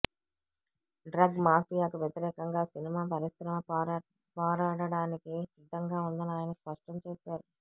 drug మాఫియాకు వ్యతిరేకంగా సినిమా పరిశ్రమ పోరాడటానికి సిద్ధంగా ఉందని ఆయన స్పష్టం చేశారు